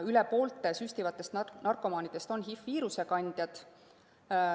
Üle poole süstivatest narkomaanidest on HI‑viiruse kandjad.